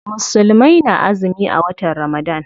Musulmai na azumi a watan Ramadan.